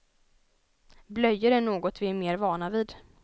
Blöjor är något vi är mer vana vid.